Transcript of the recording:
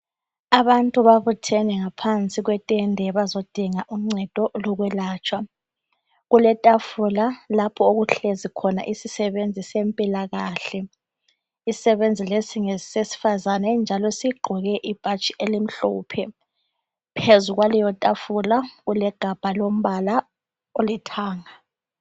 Abantu babuthene ngaphansi kwetende bazodinga uncedo lokwelatshwa. Kuletafula lapho okuhlezi khona isisebenzi sempilakahle. Isisebenzi lesi ngesesifazane njalo sigqoke ibhatshi elimhlophe phezulu kwaleyotafula kulegabha lombala olithanga.